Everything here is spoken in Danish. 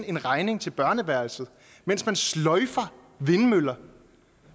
en regning til børneværelset mens man sløjfer vindmøller